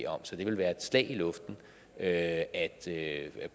om så det vil være et slag i luften at at